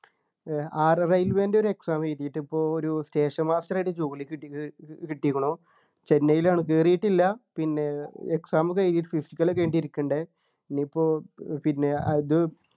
ഉം ഏർ ആർ railway ൻ്റെ ഒരു exam എഴുതീട്ട് പ്പോ ഒരു station master ആയിട്ട് ജോലി കിട്ടി കിട്ടിക്കുണു ചെന്നൈയിലാണ് കേറിയിട്ടില്ല പിന്നെ exam ഒക്കെ എഴുതി physical ഒക്കെ കഴിഞ്ഞിട്ട് ഇരിക്കുണ്ട് ഇനിയിപ്പോ പിന്നെ അത്